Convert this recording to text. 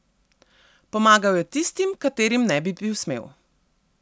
Pomagal je tistim, katerim ne bi bil smel.